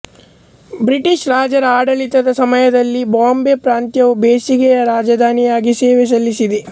British ರಾಜರ ಆಡಳಿತದ ಸಮಯದಲ್ಲಿ ಬಾಂಬೆ ಪ್ರಾಂತ್ಯವು ಬೇಸಿಗೆಯ ರಾಜಧಾನಿಯಾಗಿ ಸೇವೆ ಸಲ್ಲಿಸಿದೆ